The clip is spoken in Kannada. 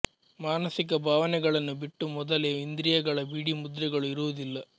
ಮಾನಸಿಕ ಭಾವನೆಗಳನ್ನು ಬಿಟ್ಟು ಮೊದಲೇ ಇಂದ್ರಿಯಗಳ ಬಿಡಿ ಮುದ್ರೆಗಳು ಇರುವುದಿಲ್ಲ